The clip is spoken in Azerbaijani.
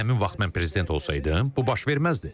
Əgər həmin vaxt mən prezident olsaydım, bu baş verməzdi.